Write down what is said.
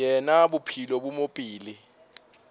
yena bophelo bo mo pele